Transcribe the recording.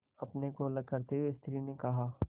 अपने को अलग करते हुए स्त्री ने कहा